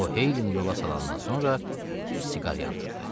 O Heylini yola salandan sonra bir siqar yandırdı.